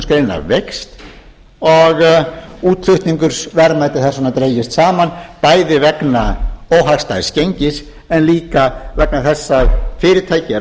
útflutningsgreinanna veikst og útflutningsverðmæti hafa dregist saman bæði vegna óhagstæðs gengis en líka vegna þess að fyrirtæki eru að